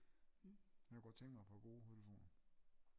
Jeg kunne godt tænke mig et par gode hovedtelefoner